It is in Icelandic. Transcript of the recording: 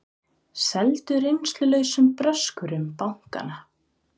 Seldu reynslulausum bröskurum bankana